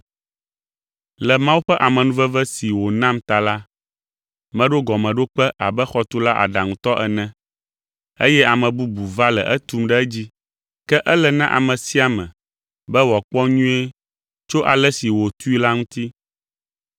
Le Mawu ƒe amenuveve si wònam ta la, meɖo gɔmeɖokpe abe xɔtula aɖaŋutɔ ene, eye ame bubu va le etum ɖe edzi. Ke ele na ame sia ame be wòakpɔ nyuie tso ale si wòtui la ŋuti.